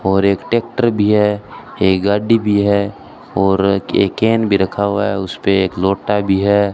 और एक ट्रैक्टर भी है एक गाड़ी भी है और एक केन भी रखा हुआ है उस पे एक लोटा भी है।